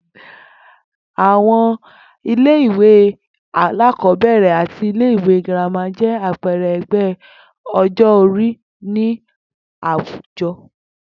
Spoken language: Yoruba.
Àwo̩n ilé ìwé alákò̩ó̩bè̩rè̩ àti ilé ìwé girama jé̩ àpe̩e̩re̩ e̩gbé̩ o̩jó̩-orí ní àwùjo̩